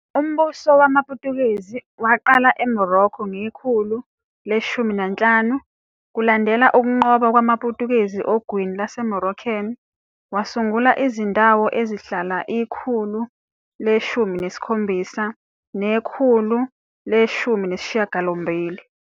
Umbuso wamaPutukezi waqala eMorocco ngekhulu le-15, kulandela ukunqoba kwamaPutukezi ogwini lwaseMoroccan, wasungula izindawo ezazihlala ikhulu le-17 nele-18.